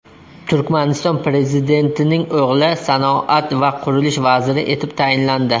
Turkmaniston prezidentining o‘g‘li sanoat va qurilish vaziri etib tayinlandi.